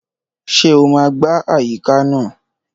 Ṣé o máa gbá àyíká náà?